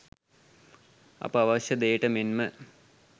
අප අවශ්‍ය දෙයට මෙන්ම